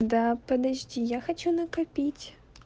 да подожди я хочу накопить